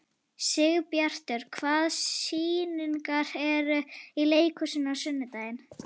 Sigbjartur, hvaða sýningar eru í leikhúsinu á sunnudaginn?